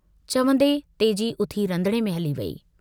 चवन्दे तेजी उथी रंधणे में हली वेई।